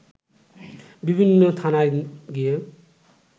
বিভিন্ন থানায় গিয়ে